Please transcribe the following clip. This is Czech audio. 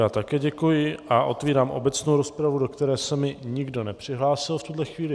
Já také děkuji a otevírám obecnou rozpravu, do které se mi nikdo nepřihlásil v tuhle chvíli.